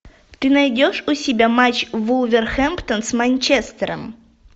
ты найдешь у себя матч вулверхэмптон с манчестером